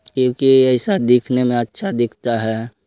क्युकी ऐसा दिखने में अच्छा दिखता है।